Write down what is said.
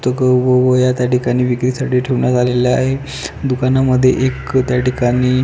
तक व वह्या त्या ठिकाणी विक्रीसाठी ठेवण्यात आलेल्या आहे दुकाना मध्ये एक त्या ठिकाणी --